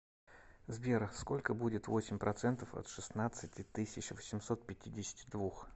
сбер сколько будет восемь процентов от шестнадцати тысяч восемьсот пятидесяти двух